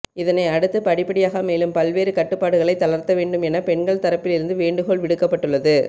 இதனை அடுத்து படிப்படியாக மேலும் பல்வேறு கட்டுப்பாடுகளை தளர்த்த வேண்டும் என பெண்கள் தரப்பில் இருந்து வேண்டுகோள் விடுக்கப்பட்டுள்ளது